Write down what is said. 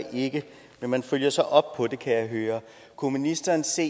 ikke men man følger så op på det kan jeg høre kunne ministeren se